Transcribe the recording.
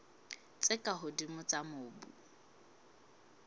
tse ka hodimo tsa mobu